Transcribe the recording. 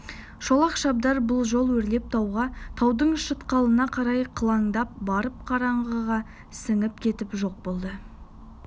шолақ шабдар бұл жол өрлеп тауға таудың шатқалына қарай қыландап барып қараңғыға сіңіп кетіп жоқ болды